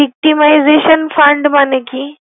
Iktimization Fund মানে কি?